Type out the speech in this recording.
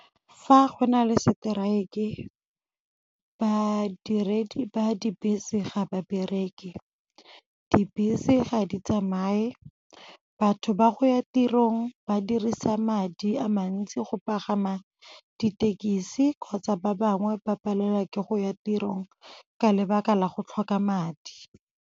Fa go na le strike-e badiredi ba dibese ga ba bereke, dibese ga di tsamaye, batho ba go ya tirong ba dirisa madi a mantsi go pagama dithekisi kgotsa ba bangwe ba palelwa ke go ya tirong ka lebaka la go tlhoka madi.